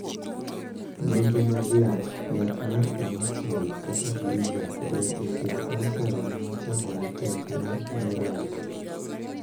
Nonro mag yath. Yath mar 'Imatinib' kata 'Gleevec' ber e thiedho kansa remo ma chango ne tek mar 'myeloid'.